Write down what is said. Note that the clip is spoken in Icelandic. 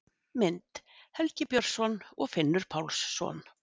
Mynd: Helgi Björnsson og Finnur Pálsson.